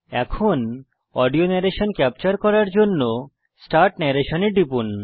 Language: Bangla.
এখন অডিও নরেশন ক্যাপচার করার জন্য স্টার্ট নরেশন এ টিপুন